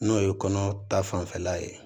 N'o ye kɔnɔ ta fanfɛla ye